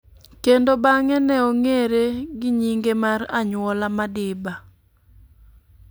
kendo bang'e ne ong'ere gi nyinge mar anyuola, Madiba.